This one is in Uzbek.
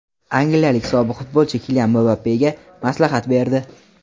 Angliyalik sobiq futbolchi Kilian Mbappega maslahat berdi.